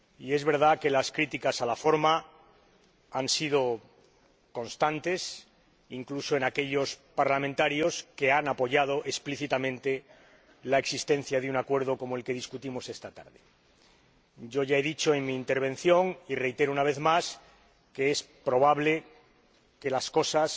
Es verdad que las críticas a la forma han sido constantes, incluso en aquellos diputados que han apoyado explícitamente la existencia de un acuerdo como el que discutimos esta tarde. Ya he dicho en mi intervención, y reitero una vez más, que es probable que las cosas